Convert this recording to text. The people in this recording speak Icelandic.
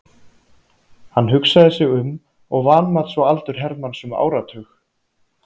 Hann hugsaði sig um og vanmat svo aldur Hermanns um áratug.